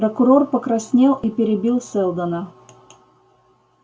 прокурор покраснел и перебил сэлдона